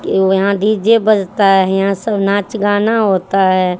के वो यहां डी_जे बजता है यहां सब नाच गाना होता है।